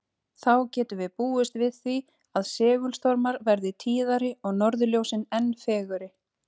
Þá getum við búist við því að segulstormar verði tíðari og norðurljósin enn fegurri.